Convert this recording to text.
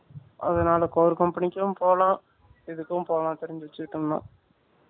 அதுனால Core Company க்கும் போலாம் இதுக்கும் போலாம் தெரிஞ்சி வச்சிக்கிட்டோம்னா